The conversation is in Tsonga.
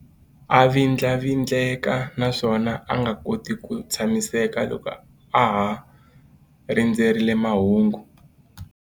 A vindlavindleka naswona a nga koti ku tshamiseka loko a ha rindzerile mahungu.